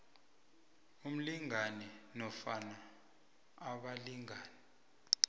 umlingani nofana abalingani